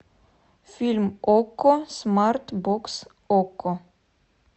фильм окко смарт бокс окко